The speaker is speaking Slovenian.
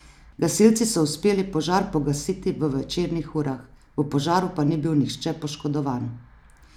Gasilci so uspeli požar pogasiti v večernih urah, v požaru pa ni bil nihče poškodovan.